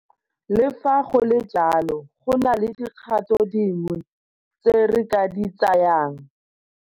Le fa go le jalo, go na le dikgato dingwe tse re ka di tsayang.